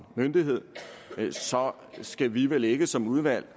myndighed så skal vi vel ikke som udvalg